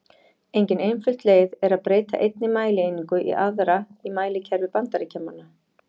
Engin einföld leið er að breyta einni mælieiningu í aðra í mælikerfi Bandaríkjamanna.